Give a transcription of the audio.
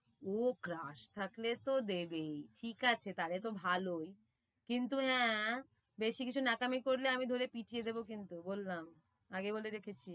ও crush থাকলে তো দেবেই, ঠিক আছে তালে তো ভালোই, কিন্তু আহ বেশি কিছু ন্যাকামি করলে আমি ধরে পিটিয়ে দেবো কিন্তু বললাম, আগে বলে রেখেছি।